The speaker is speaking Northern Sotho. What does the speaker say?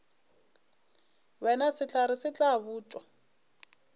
wena sehlare se tla botšwa